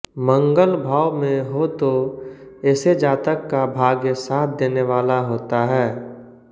मंगल भाव में हो तो ऐसे जातक का भाग्य साथ देने वाला होता है